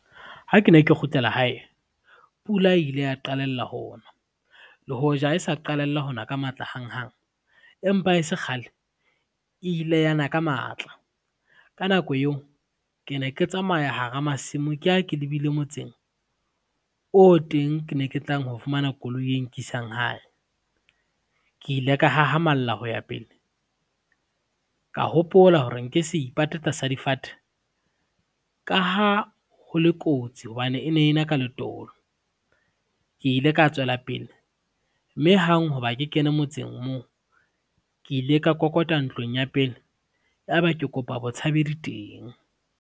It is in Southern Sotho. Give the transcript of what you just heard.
Ha ke ne ke kgutlela hae, pula ile ya qalella ho ona, le hoja ha e sa qalella hona ka matla hanghang, empa e se kgale e ile yana ka matla. Ka nako yeo, ke ne ke tsamaya hara masimo ke ya ke lebile motseng, o teng ke ne ke tlang ho fumana koloi e nkisang hae. Ke ile ka hahamalla ho ya pele, ka hopola hore nke se ipate tla sa difate ka ha ho le kotsi hobane e ne ena ka letolo, ke ile ka tswela pele mme hang ho ba ke kene motseng moo ke ile ka kokota ntlong ya pele, ya ba ke kopa botshabedi teng.